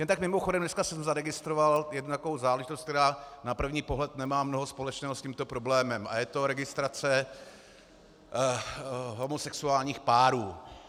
Jen tak mimochodem, dneska jsem zaregistroval jednu takovou záležitost, která na první pohled nemá mnoho společného s tímto problémem, a je to registrace homosexuálních párů.